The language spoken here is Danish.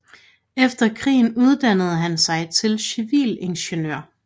Efter krigen uddannede han sig til civilingeniør